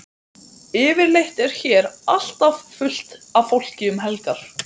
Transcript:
Yfirleitt er hér alltaf fullt af fólki um helgar.